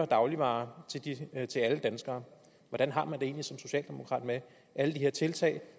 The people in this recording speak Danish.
dagligvarer til alle danskere hvordan har man det egentlig som socialdemokrat med alle de her tiltag